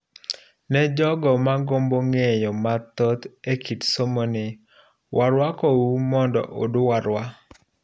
Ne jogo magombo ng'eyo mathoth ekit somoni, waruakou mondo udwarwa.